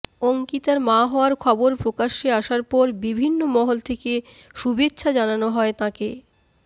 অঙ্কিতার মা হওয়ার খবর প্রকাশ্যে আসার পর বিভিন্ন মহল থেকে শুভেচ্ছা জানানো হয় তাঁকে